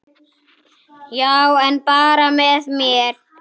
Já, en bara með mér.